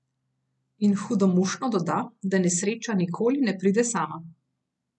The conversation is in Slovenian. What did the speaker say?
In hudomušno doda, da nesreča nikoli ne pride sama.